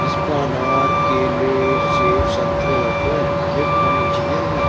इस पर अनार केले सेक संतरे लग रहे हैं ये खानी चाहिए हमें --